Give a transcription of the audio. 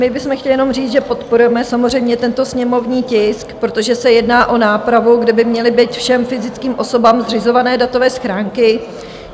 My bychom chtěli jenom říct, že podporujeme samozřejmě tento sněmovní tisk, protože se jedná o nápravu, kde by měly být všem fyzickým osobám zřizované datové schránky.